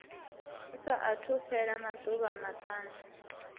sa athu fhela maḓuvha maṱanu